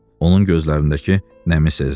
Onun gözlərindəki nəmi sezdi.